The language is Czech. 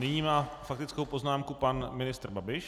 Nyní má faktickou poznámku pan ministr Babiš.